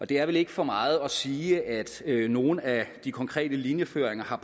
det er vel ikke for meget at sige at nogle af de konkrete linjeføringer har